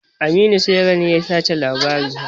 Aminu saira ne ya tace labarin.